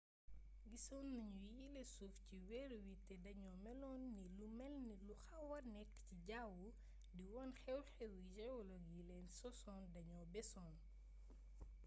gisoon nañu yile suuf ci weer wi te dañoo meloon ni lu melni lu xawa nekk ci jawwu di wone xew-xewi geologue yi leen sosoon dañoo beesoon